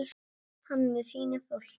Hann stóð með sínu fólki.